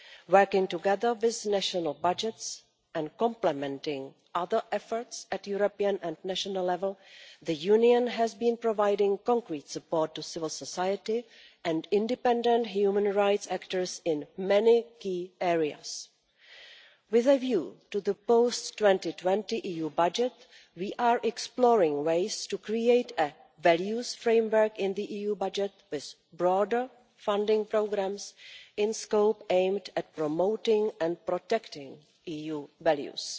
Working together with national budgets and complementing other efforts at European and national level, the Union has been providing concrete support to civil society and independent human rights actors in many key areas. With a view to the post 2020 EU budget, we are exploring ways to create a values framework in the EU budget with broader funding programmes in a scope aimed at promoting and protecting EU values.